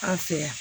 An fɛ yan